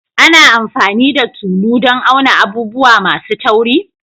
Ana amfani da tulu dan auna abubuwa masu tauri?